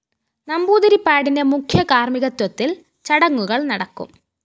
നമ്പൂതിരിപ്പാടിന്റെ മുഖ്യകാര്‍മ്മികത്വത്തില്‍ ചടങ്ങുകള്‍ നടക്കും